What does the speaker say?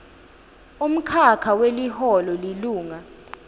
umkhakha weliholo lilunga